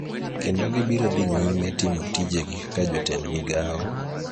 kendo gibiro dhi nyime timo tijegi kaka jotend migao,